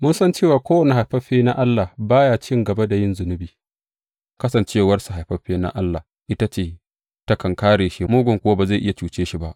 Mun san cewa kowane haifaffe na Allah ba ya cin gaba da yin zunubi; kasancewarsa haifaffe na Allah ita takan kāre shi, mugun kuwa ba zai iya cuce shi ba.